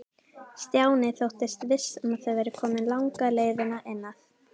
Stjáni þóttist viss um að þau væru komin langleiðina inn að